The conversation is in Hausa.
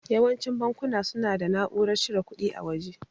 Yawancin bankuna suna da na'urar cire kuɗi a waje.